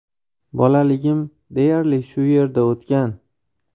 Bolaligim deyarli shu yerda o‘tgan.